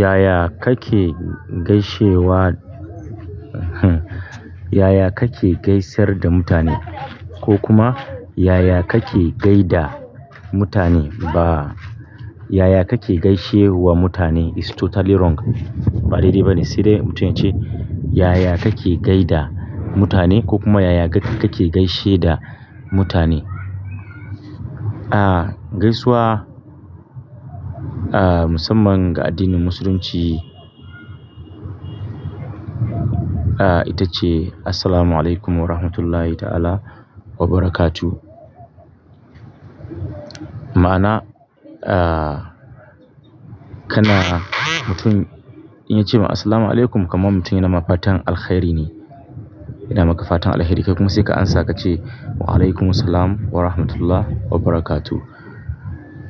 Yaya kake gaishewa? Yaya kake gaisar da mutane? Ko kuma yaya kake gaida mutane? Ba yaya kake gaishe wa mutane is totally wrong. Ba daidai ba ne. Cire mutum ya ce yaya kake gaida mutane ko kuma yaya kake gaishe da mutane. Ah gaisuwa, ah musamman ga addinin musulunci, ah ita ce "Assalamu alaikum warahmatullahi ta'ala wa barakatu." Ma'ana, ah kana mutum in ya ce ma "Assalamu alaikum" kaman mutum yana ma fatan "Alkhairi" ne. Ina maka fatan alheri. Kai kuma sai ka amsa ka ce "Wa alaikum assalam wa rahmatullah wa barakatu."